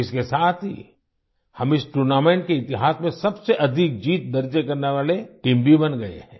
इसके साथ ही हम इस टूर्नामेंट के इतिहास में सबसे अधिक जीत दर्ज करने वाले टीम भी बन गए हैं